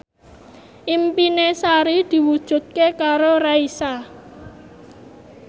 impine Sari diwujudke karo Raisa